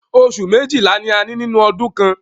Oṣù méjìlá ni a ní nínú ọdún kan.